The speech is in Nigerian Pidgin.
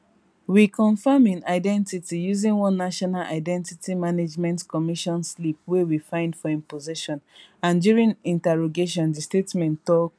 we confam im identity using one national identity management commission slip wey we find for im possession and during interrogation di statement tok